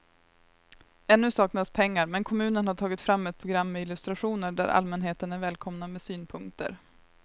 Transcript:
Ännu saknas pengar men kommunen har tagit fram ett program med illustrationer där allmänheten är välkomna med synpunkter.